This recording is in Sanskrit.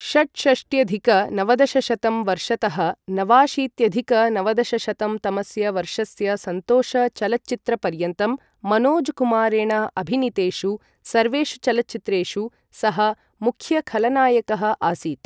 षट्षष्ट्यधिक नवदशशतं वर्षतः नवाशीत्यधिक नवदशशतं तमस्य वर्षस्य सन्तोष चलच्चित्रपर्यन्तं मनोजकुमारेण अभिनीतेषु सर्वेषु चलच्चित्रेषु सः मुख्य खलनायकः आसीत्।